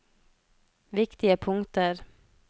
viktige punkter